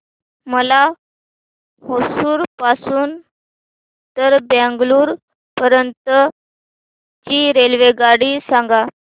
मला होसुर पासून तर बंगळुरू पर्यंत ची रेल्वेगाडी सांगा